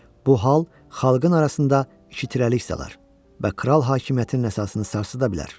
Bu hal xalqın arasında iki tirəlik salar və kral hakimiyyətinin əsasını sarsıda bilər.